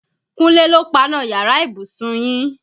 Kúnlé ló páná yàrá ìbùsùn yín.